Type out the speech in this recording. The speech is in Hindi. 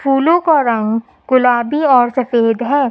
फूलों का रंग गुलाबी और सफेद है।